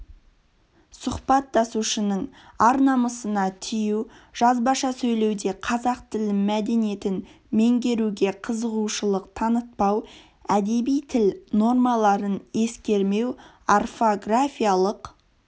сұхбаттасушының ар-намысына тию жазбаша сөйлеуде қазақ тіл мәдениетін меңгеруге қызығушылық танытпау әдеби тіл нормаларын ескермеу орфографиялық